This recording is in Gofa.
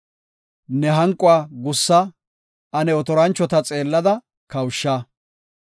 Ne hanquwa gussa; ane otoranchota xeellada kawusha.